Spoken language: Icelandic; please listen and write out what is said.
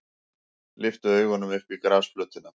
Lyfti augunum upp á grasflötina.